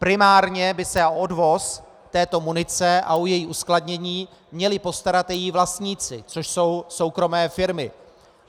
Primárně by se o odvoz této munice a o její uskladnění měli postarat její vlastníci, což jsou soukromé firmy.